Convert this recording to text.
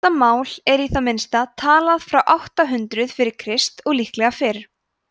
þetta mál var í það minnsta talað frá átta hundruð fyrir krist og líklega fyrr